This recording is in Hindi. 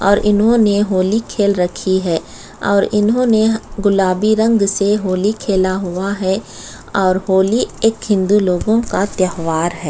और इन्होंने होली खेल रखी है और इन्होंने ने गुलाबी रंग से होली खेला हुआ है होली एक हिन्दू लोगों का त्योहार हैं।